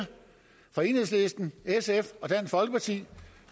fra enhedslisten sf og dansk folkeparti